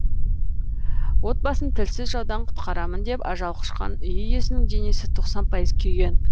отбасын тілсіз жаудан құтқарамын деп ажал құшқан үй иесінің денесі тоқсан пайыз күйген